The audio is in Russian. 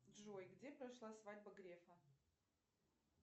джой где прошла свадьба грефа